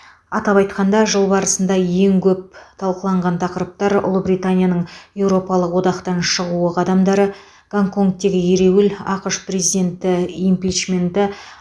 атап айтқанда жыл барысында ең көп талқыланған тақырыптар ұлыбританияның еуропалық одақтан шығуы қадамдары гонконгтегі ереуіл ақш президенті импичменті